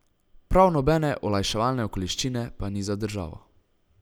Prav nobene olajševalne okoliščine pa ni za državo.